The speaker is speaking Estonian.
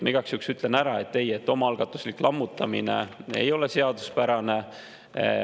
Ma igaks juhuks ütlen ära, et ei, omaalgatuslik lammutamine ei ole seaduspärane.